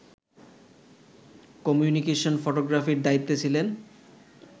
communication ফটোগ্রাফির দায়িত্বে ছিলেন